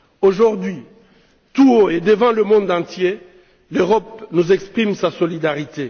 Aujourd'hui, tout haut et devant le monde entier, l'Europe nous exprime sa solidarité.